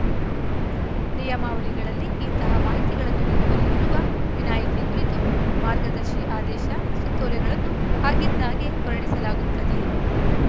ನಿಯಮಾವಳಿಗಳಲ್ಲಿ ಇಂತಹ ಮಾಹಿತಿಗಳನ್ನು ನೀಡುವಲ್ಲಿ ಇರುವ ವಿನಾಯಿತಿ ಕುರಿತು ಮಾರ್ಗದರ್ಶಿ ಆದೇಶ ಸುತ್ತೋಲೆಗಳನ್ನು ಆಗಿಂದಾಗ್ಗೆ ಹೊರಡಿಸಲಾಗುತ್ತದೆ